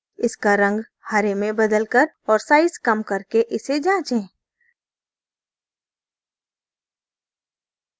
इसका रंग हरे में बदलकर और size कम करके इसे जाँचे